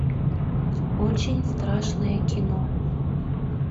очень страшное кино